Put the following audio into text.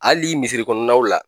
Hali misiri kɔnɔnaw la.